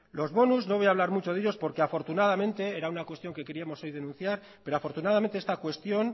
los bonus no voy a hablar mucho de ellos porque afortunadamente era una cuestión que queríamos hoy denunciar pero afortunadamente esta cuestión